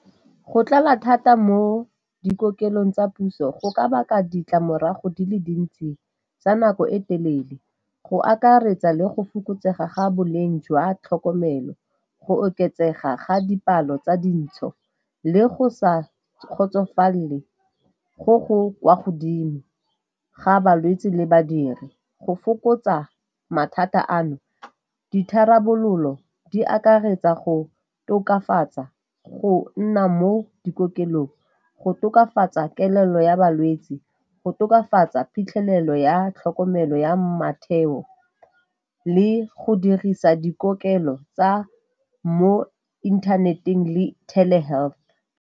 Go tlala thata mo dikokelong tsa puso go ka baka ditlamorago di le dintsi tsa nako e telele. Go akaretsa le go fokotsega ga boleng jwa tlhokomelo, go oketsega ga dipalo tsa dintsho le go sa kgotsofalele go go kwa godimo ga balwetse le badiri. Go fokotsa mathata ano ditharabololo di akaretsa go tokafatsa go nna mo dikokelong, go tokafatsa kelello ya balwetse, go tokafatsa phitlhelelo ya tlhokomelo ya le go dirisa dikokelo tsa mo inthaneteng le health.